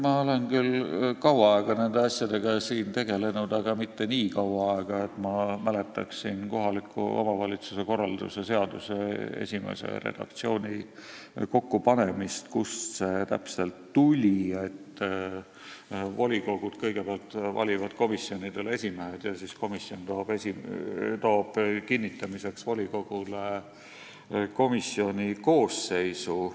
Ma olen küll kaua aega nende asjadega siin tegelenud, aga mitte nii kaua, et ma mäletaksin kohaliku omavalitsuse korralduse seaduse esimese redaktsiooni kokkupanemist ja seda, kust täpselt tuli see, et volikogud kõigepealt valivad komisjonidele esimehed ja siis esimees esitab volikogule kinnitamiseks komisjoni koosseisu.